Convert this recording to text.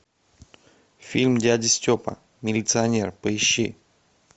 фильм дядя степа милиционер поищи